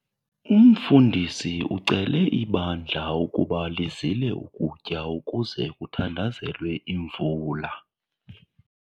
Umfundisi ucele ibandla ukuba lizile ukutya ukuze kuthandazelwe imvula.